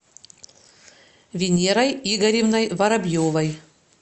венерой игоревной воробьевой